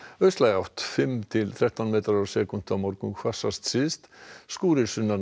austlæg átt fimm til þrettán metrar á sekúndu á morgun hvassast syðst skúrir sunnan og